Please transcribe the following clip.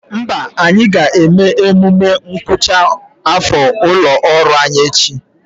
Mba, anyị ga-eme emume ngwụcha afọ ụlọ ọrụ anyị echi